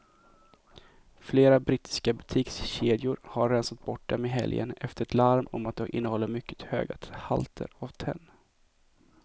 Flera brittiska butikskedjor har rensat bort dem i helgen efter ett larm om att de innehåller mycket höga halter av tenn.